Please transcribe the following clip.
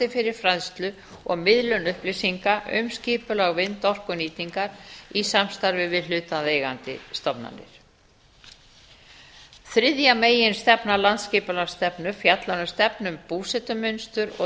fyrir fræðslu og miðlun upplýsinga um skipulag vindorkunýtingar í samstarfi við hlutaðeigandi stofnanir þriðja meginstefna landsskipulagsstefnu fjallar um stefnu um búsetumynstur og